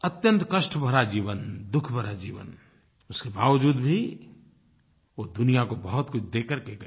अत्यंत कष्ट भरा जीवन दुःख भरा जीवन उसके बावज़ूद भी वो दुनिया को बहुतकुछ दे करके गए